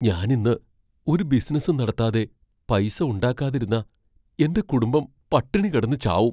ഞാൻ ഇന്ന് ഒരു ബിസിനസ്സും നടത്താതെ പൈസ ഉണ്ടാക്കാതിരുന്നാ എന്റെ കുടുംബം പട്ടിണി കിടന്ന് ചാവും.